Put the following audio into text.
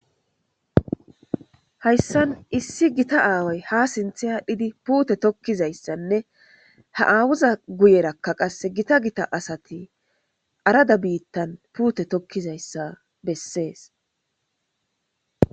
hayssan issi gita aaway ha sintha adhidi puute tokkizayssanne ha aawuza guyerakka qasse gita gita asati arada biittan puute tokkizayssa bessees